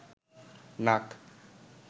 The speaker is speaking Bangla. নাক